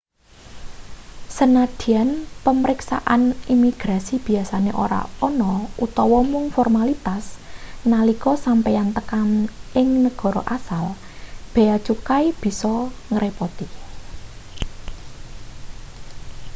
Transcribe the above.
sanadyan pamriksaan imigrasi biasane ora ana utawa mung formalitas nalika sampeyan tekan ing negara asal bea cukai bisa ngrepoti